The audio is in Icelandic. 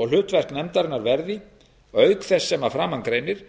og hlutverk nefndarinnar verði auk þess sem að framan greinir